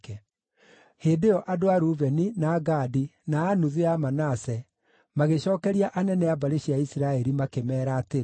Hĩndĩ ĩyo andũ a Rubeni, na a Gadi, na a nuthu ya Manase magĩcookeria anene a mbarĩ cia Isiraeli makĩmeera atĩrĩ: